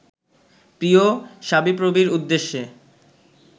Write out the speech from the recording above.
প্রিয় শাবিপ্রবির উদ্দেশে